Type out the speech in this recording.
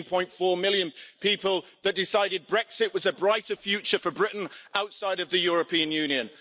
17.4 million people that decided Brexit was a brighter future for Britain outside of the European Union.